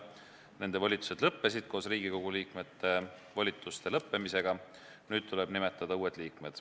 Nende volitused lõppesid koos Riigikogu liikmete volituste lõppemisega, nüüd tuleb nimetada uued inimesed.